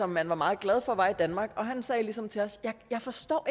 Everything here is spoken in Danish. man var meget glad for var i danmark han sagde ligesom til os jeg forstår